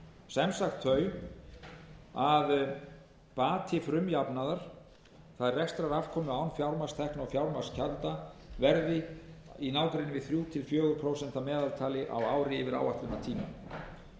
sem sagt þau að bati frumjafnaðar það er rekstrarafkomu án fjármagnstekna og fjármagnsgjalda verði í nágrenni við þrjú til fjögur prósent að meðaltali á ári yfir áætlunartímann